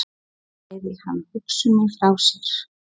Svo bægði hann hugsuninni frá sér.